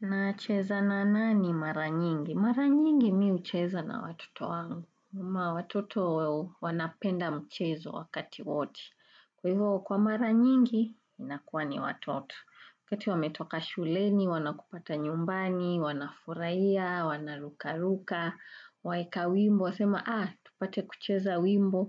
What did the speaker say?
Na cheza na nani mara nyingi? Mara nyingi mimi hucheza na watoto wangu. Na watoto wanapenda mchezo wakati wote Kwa hivyo kwa mara nyingi, inakuwa ni watoto. Wakati wametoka shuleni, wanakupata nyumbani, wanafurahia, wanarukaruka, waeka wimbo, wasema, aah, tupate kucheza wimbo.